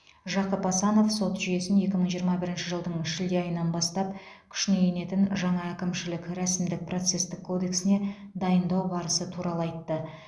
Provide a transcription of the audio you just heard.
жақып асанов сот жүйесін екі мың жиырма бірінші жылдың шілде айынан бастап күшіне енетін жаңа әкімшілік рәсімдік процестік кодексіне дайындау барысы туралы айтты